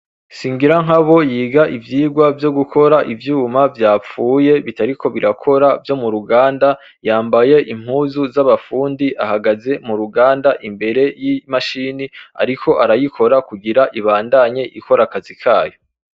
Singira nkabo yiga ivyirwa vyo gukora ivyuma vyapfuye bitariko birakora vyo mu ruganda yambaye impuzu z'abapfundi ahagaze mu ruganda imbere y'imashini, ariko arayikora kugira ibandanye ikora akazi kayo.